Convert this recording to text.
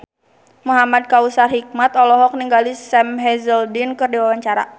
Muhamad Kautsar Hikmat olohok ningali Sam Hazeldine keur diwawancara